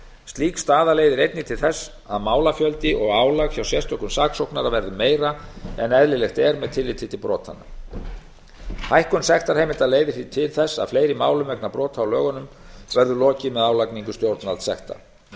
slík staða leiðir einnig til þess að málafjöldi og álag hjá sérstökum saksóknara verður meira en eðlilegt er með tilliti til brotanna hækkun sektarheimilda leiðir því til þess að fleiri málum vegna brota á lögunum verður lokið með álagningu stjórnvaldssekta